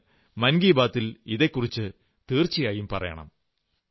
അങ്ങ് മൻ കീ ബാത്തിൽ ഇതെക്കുറിച്ചു തീർച്ചയായും പറയണം